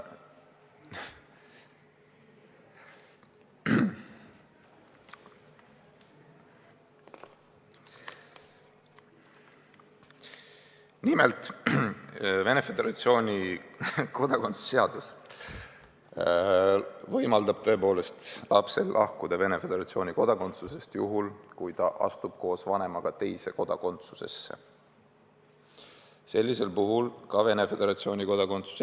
Nimelt, Venemaa Föderatsiooni kodakondsuse seadus võimaldab tõepoolest lapsel lahkuda Venemaa Föderatsiooni kodakondsusest juhul, kui ta astub koos vanemaga teise riigi kodakondsusesse.